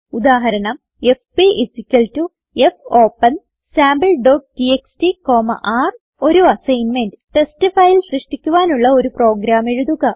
ഉദാഹരണം എഫ്പി fopensampleടിഎക്സ്ടി ർ ഒരു അസ്സിഗ്ന്മെന്റ് ടെസ്റ്റ് ഫയൽ സൃഷ്ടിക്കാനുള്ള ഒരു പ്രോഗ്രാം എഴുതുക